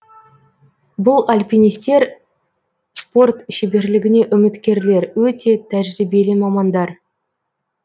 бұл альпинистер спорт шеберлігіне үміткерлер өте тәжірибелі мамандар